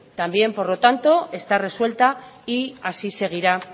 también por lo tanto está resuelta y así seguirá